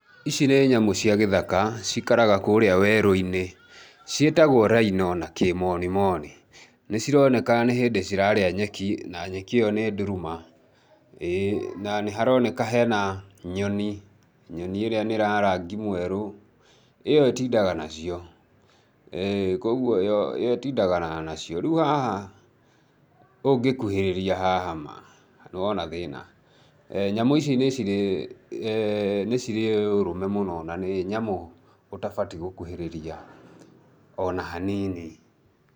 Ici nĩ nyamũ cia gĩthaka cikaraga kũrĩa werũ-inĩ. Ciĩtagwo rhino na na kĩmonimoni. Nĩ cironeka nĩ hĩndĩ cirarĩa nyeki na nyeki io nĩ nduru ma, ĩĩ, na nĩharoneka hena nyoni, nyoni ĩrĩa nĩ ya rangi mwerũ. ĩyo ĩtindaga nacio kwoguo yo ĩtindagana nacio, rĩu haha ũngĩkuhĩrĩria haha ma nĩ wona thĩna. Nyamũ ici nĩ cirĩ ũrũme mũno na nĩ nyamũ ũtabatiĩ gũkuhĩrĩria ona hanini.